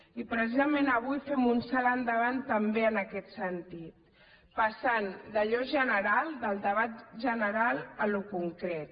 i precisament avui fem un salt endavant també en aquest sentit passant d’allò general del debat general a allò concret